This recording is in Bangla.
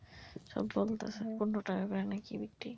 কীসব বলতেছে পনেরো টাকা করে নাকি বিক্রি?